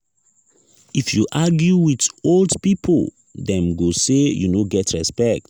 if you argue wit old pipo dem go sey you no get respect.